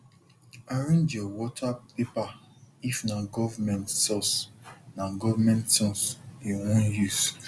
arrange your water paper if na government source na government source you wan use